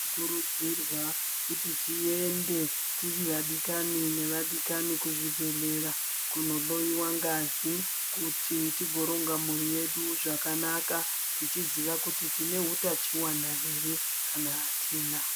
Tinokurudzirwa kuti tiende tiri vadikani nevadikani kuzvibhedhlera kundohloyiwa ngazi kuti tigoronga mhuri yedu zvakanaka tichiziva kuti tine hutachiwana here kana hatina.